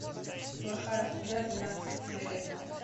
плохая судья двенадцатая серия